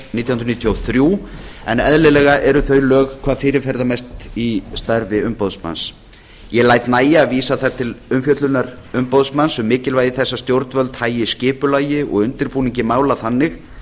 nítján hundruð níutíu og þrjú en eðlilega eru þau lög hvað fyrirferðarmest í starfi umboðsmanns ég læt nægja að vísa þar til umfjöllunar umboðsmanns um mikilvægi þess að stjórnvöld hagi skipulagi og undirbúningi mála þannig